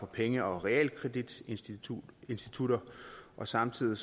penge og realkreditinstitutter samtidig